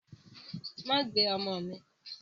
Má gbé ọmọ mi.